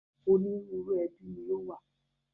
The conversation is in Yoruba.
Ònírunru ẹbí ni ó wà